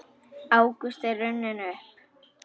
Ágúst er runninn upp.